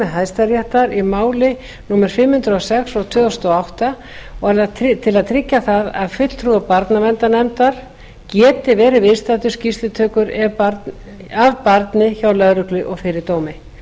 hæstaréttar í máli númer fimm hundruð og sex tvö þúsund og átta og til að tryggja það að fulltrúi barnaverndarnefndar geti verið viðstaddur skýrslutökur af barni hjá lögreglu og fyrir dómi nefndin hefur fengið